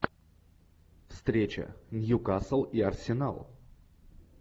встреча ньюкасл и арсенал